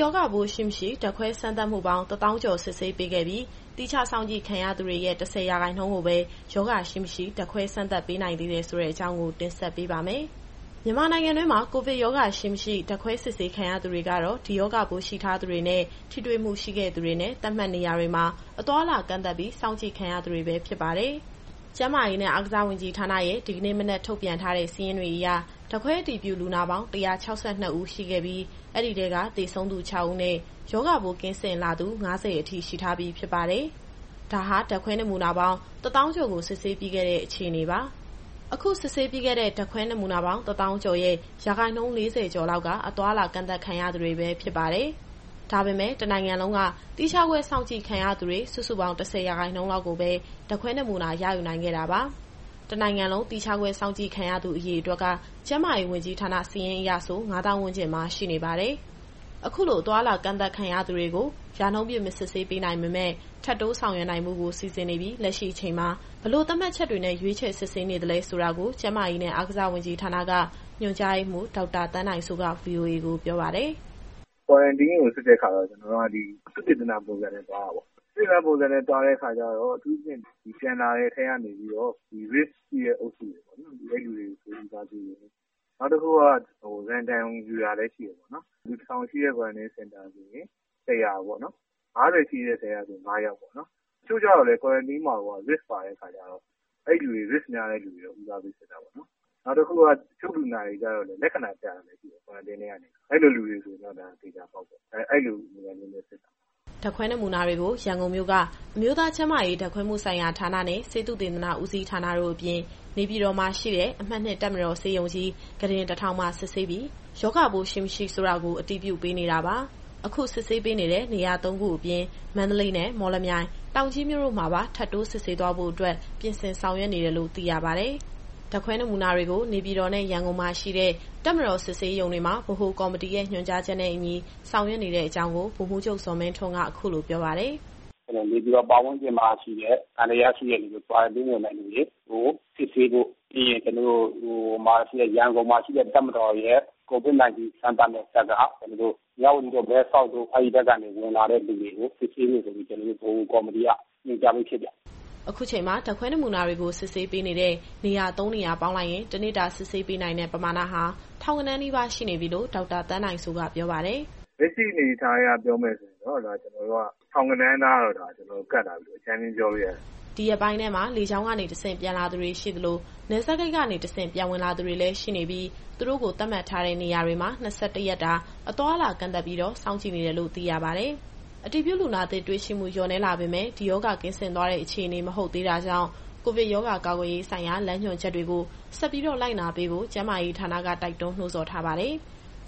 ရောဂါပိုးရှိ၊ မရှိ ဓါတ်ခွဲစမ်းသပ်မှုပေါင်း ၁၀,၀၀၀ ကျော်စစ်ဆေးပေးခဲ့ပြီး သီးခြားစောင့်ကြည့်ခံရသူတွေရဲ့ ၁၀ ရာခိုင်နှုန်းကိုပဲ ရောဂါရှိ၊ မရှိ ဓါတ်ခွဲစမ်းသပ်ပေးနိုင်သေးတယ်ဆိုတဲ့အကြောင်းကို ဗွီအိုအေမြန်မာပိုင်း သတင်းထောက် မစုစုက တင်ဆက်ပေးပါမယ်။ မြန်မာနိုင်ငံတွင်း ကိုဗစ်ရောဂါရှိ၊ မရှိ ဓာတ်ခွဲစစ်ဆေးခံရသူတွေကတော့ ဒီရောဂါပိုးရှိထားသူတွေနဲ့ ထိတွေ့မှုရှိခဲ့သူတွေနဲ့ သတ်မှတ်နေရာတွေမှာ အသွားအလာကန့်သတ် စောင့်ကြည့်ခံရသူတွေ ဖြစ်ကြပါတယ်။ ကျန်းမာရေးနဲ့ အားကစားဝန်ကြီးဌာနရဲ့ ဒီကနေ့ မနက်ထုတ်ပြန်ထားတဲ့ စာရင်းအရ ဓာတ်ခွဲအတည်ပြုလူနာပေါင်း ၁၆၂ ဦး ရှိခဲ့ပြီး အဲဒီထဲက သေဆုံးသူ ၆ ဦးနဲ့ ရောဂါပိုးကင်းစင်လာသူ ၅၀ အထိ ရှိထားပြီဖြစ်ပါတယ်။ ဒါဟာ ဓာတ်ခွဲနမူနာပေါင်း ၁၀,၀၀၀ ကျော်ကို စစ်ဆေးပြီးခဲ့တဲ့ အခြေအနေပါ။ အခုစစ်ဆေးပြီးခဲ့တဲ့ ဓာတ်ခွဲနမူနာပေါင်း ၁၀,၀၀၀ ကျော်ရဲ့ ရာခိုင်နှုန်း ၄၀ ကျော်လောက်က အသွားအလာ ကန့်သတ်ခံထားရသူတွေ ဖြစ်ပါတယ်။ ဒါပေမဲ့ တနိုင်ငံလုံးက သီးခြားခွဲစောင့်ကြည့်ခံရသူ စုစုပေါင်း ၁၀ ရာခိုင်နှုန်းလောက်ကိုပဲ ဓါတ်ခွဲနမူနာယူနိုင်ခဲ့တာပါ။ တနိုင်ငံလုံး သီးခြားခွဲစောင့်ကြည့်ခံရသူ အရေအတွက်က ကျန်းမာရေးဝန်ကြီးဌာန စာရင်းအရ ၅၀,၀၀၀ ဝန်းကျင်မှာ ရှိနေပါတယ်။ အခုလို အသွားအလာ ကန့်သတ်ခံထားရသူတွေကို ရာနှုန်းပြည့်မစစ်ဆေးပေးနိုင်ပေမဲ့ ထပ်တိုးဆောင်ရွက်နိုင်ဖို့ကို စီစဉ်နေပြီး လက်ရှိအချိန်မှာ ဘယ်လိုသတ်မှတ်ချက်တွေနဲ့ ရွေးချယ်စစ်ဆေးနေသလဲဆိုတာကို ကျန်းမာရေးနဲ့ အားကစားဝန်ကြီးဌာနက ညွှန်ကြားရေးမှူး ဒေါက်တာသန်းနိုင်စိုးကVOA ကို ပြောပါတယ်။ “Quarantine ကိုစစ်တဲ့အခါ ကျနော်တို့က သုတေသန ပုံစံမျိုးနဲ့ သွားတာပေါ့။ သုတေသနပုံစံမျိုးနဲ့ သွားတဲ့အခါကျတော့ အထူးသဖြင့် ဒီပြန်လာတဲ့အထဲကနေပြီးတော့ ဒီ risk ရှိတဲ့သူတွေပေါ့နော်။ အဲလူတွေကို ပိုပြီးတော့ဦးစားပေးတယ်။ နောက်တခုက random ယူတာလည်းရှိတာပေါ့နော်။ လူ ၁,၀၀၀ ရှိတဲ့ Quarantine Center ဆိုရင် ၁၀၀ ပေါ့နော်၊ ၅၀ ရှိတဲ့ အထဲကဆိုရင် ၅ ယောက်ပေါ့နော်။ တချို့ကျတော့လည်း Quarantine မှာကိုက risk ပါတဲ့အခါကျတော့ အဲလူတွေကို ဦးစားပေးစစ်တာပေါ့နော်။ နောက်တခုက တချို့လူနာတွေကျတော့ လက္ခဏာပြတာလည်း ရှိတယ်။ Quarantine ထဲကနေ။ အဲလူတွေဆိုရင်တော့ သေချာပေါက်ပေါ့။ အဲဒီလိုပုံစံမျိုးနဲ့စစ်တာပါ။” ဓာတ်ခွဲနမူနာတွေကို ရန်ကုန်မြို့က အမျိုးသားကျန်းမာရေး ဓာတ်ခွဲမှုဆိုင်ရာဌာနနဲ့ ဆေးသုတေသနဦးစီးဌာနတို့အပြင်၊ နေပြည်တော်မှာရှိတဲ့ အမှတ် ၂ တပ်မတော်ဆေးရုံကြီး ခုတင် ၁,၀၀၀ မှာ စစ်ဆေးပြီး ရောဂါပိုးရှိ၊ မရှိဆိုတာကို အတည်ပြုပေးနေတာပါ။ အခုစစ်ဆေးပေးနေတဲ့ နေရာသုံးခုအပြင် မန္တလေးနဲ့ မော်လမြိုင်၊ တောင်ကြီးမြို့မှာပါ ထပ်တိုးစစ်ဆေးသွားနိုင်ဖို့အတွက် ပြင်ဆင်ဆောင်ရွက်နေတယ်လို့ သိရပါတယ်။ ဓာတ်ခွဲနမူနာတွေကို နေပြည်တော်နဲ့ ရန်ကုန်မြို့မှာရှိတဲ့ တပ်မတော်စစ်ဆေးရုံတွေမှာ ဗဟိုကော်မတီရဲ့ ညွှန်ကြားချက်နဲ့အညီ ဆောင်ရွက်နေတဲ့အကြောင်းကို ဗိုလ်မှူးချုပ်ဇော်မင်းထွန်းက အခုလိုပြောပါတယ်။ “နေပြည်တော်ပတ်ဝန်းကျင်မှာရှိတဲ့ သံသယရှိတဲ့သူတွေ၊ Quarantine ဝင်တဲ့သူတွေကို စစ်ဆေးဖို့၊ ပြီးရင် ရန်ကုန်မှာရှိတဲ့ တပ်မတော်ရဲ့ COVID-19 စမ်းသပ်မယ့် စက်က မြဝတီတို့ မဲဆောက်တို့ အဲ့ကနေ ဝင်လာတဲ့သူတွေကို စစ်ဆေးဖို့ ဗဟိုကော်မတီက ညွှန်ကြားပြီးဖြစ်ပါတယ်။” အခုချိန်မှာ ဓာတ်ခွဲနမူနာတွေကို စစ်ဆေးပေးနေတဲ့ နေရာ သုံးနေရာပေါင်းလိုက်ရင် တနေ့တာ စစ်ဆေးပေးနိုင်တဲ့ ပမာဏဟာ ထောင်ဂဏန်းနီးပါး ရှိနေပြီလို့ ဒေါက်တာသန်းနိုင်စိုးက ပြောပါတယ်။ “လက်ရှိအနေအထားအရ ပြောမယ်ဆိုရင်တော့ ထောင်ဂဏန်းနားတော့ ကပ်လာပြီလို့ အကြမ်းဖျဉ်းပြောလို့ရတယ်။” ဒီရက်ပိုင်းထဲမှာ လေကြောင်းကနေတဆင့် ပြန်လာသူတွေရှိသလို၊ နယ်စပ်ဂိတ်ကနေတဆင့် ပြန်ဝင်လာသူတွေလည်း ရှိနေပြီး သူတို့ကို သတ်မှတ်ထားတဲ့နေရာတွေမှာ ၂၁ ရက်တာ အသွားအလာကန့်သတ်ပြီး စောင့်ကြည့်နေတယ်လို့ သိရပါတယ်။ အတည်ပြုလူနာသစ်တွေ့ရှိမှု လျော့နည်းလာပေမဲ့လည်း ဒီရောဂါကင်းစင်သွားတဲ့အခြေအနေ မဟုတ်သေးတာကြောင့် ကိုဗစ်ရောဂါကာကွယ်ရေးဆိုင်ရာ လမ်းညွှန်ချက်တွေကို ဆက်ပြီးတော့လိုက်နာပေးဖို့ ကျန်းမာရေးဌာနက တိုက်တွန်းနှိုးဆော်ထားပါတယ်။